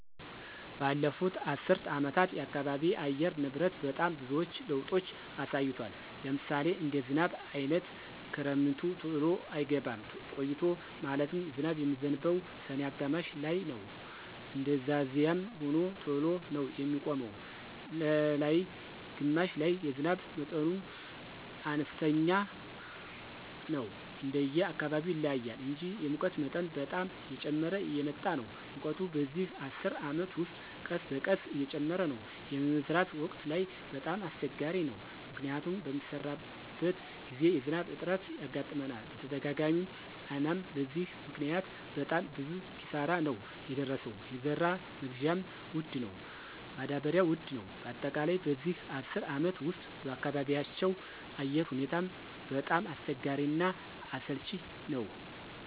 በለፉት አሰር አመታት የአካባቢ አየር ንብረት በጣም ብዙዎች ለውጦች አሳይቷል። ለምሳሌ እንደ ዝናብ አይነት ክረምቱ ተሎ አይገባም ቆይቶ ማለትም ዝናብ የሚዝንበው ሰኔ አጋማሽ ላይነው እንደዛዚያም ሆኖ ተሎ ነው የሚቆመው ነላይ ግማሽ ላይ የዝናብ መጠኑም አነስተኛ ነው እንደየ አካባቢው ይለያያል እንጂ። የሙቀት መጠን በጣም እየጨመረ እየመጣ ነው ሙቀቱ በዚህ አስር አመት ውስጥ ቀስበቀስ እየጨመረ ነው። የመዝራት ወቅት ላይ በጣም አሰቸጋሪ ነው። ምክንያቱም በሚሰራበት ግዜ የዝናብ እጥረት ያጋጥመናል በተደጋጋሚ አናም በዚህ ምክኒያት በጣም ብዙ ኪሳራ ነው የደረሰው የዘራ መግዢያ ወድ ነው ማዳበሪው ውድ ነው በአጠቃላይ በዚህ አስር አመት ውስጥ በአካባቢያቸው አየር ሁኔታው በጣም አስቸጋሪ እና አሰልች ነወ።